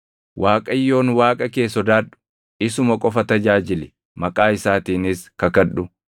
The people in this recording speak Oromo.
Waaqayyoon Waaqa kee sodaadhu; isuma qofa tajaajili; maqaa isaatiinis kakadhu.